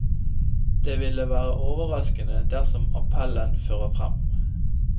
Det ville være overraskende dersom appellen fører frem.